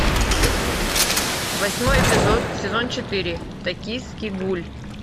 восьмой эпизод сезон четыре токийский гуль